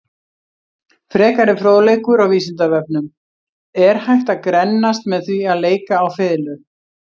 Frekari fróðleikur á Vísindavefnum: Er hægt að grennast með því að leika á fiðlu?